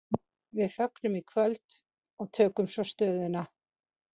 Við fögnum í kvöld og tökum svo stöðuna.